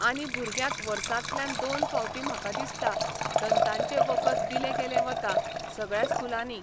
आनी भुरग्यांक वर्सांतल्यान दोन फावटीं म्हाका दिसता, दंताचें वखद दिलें गेलें वता, सगळ्या स्कुलांनी.